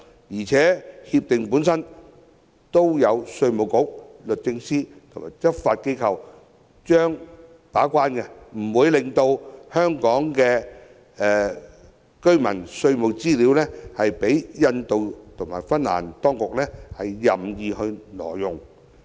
而且，全面性協定有稅務局、律政司及執法機構把關，不會讓香港居民的稅務資料被印度及芬蘭當局任意挪用。